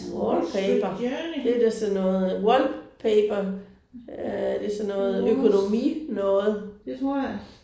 Wallpaper det er da sådan noget wallpaper øh det er sådan noget økonomi noget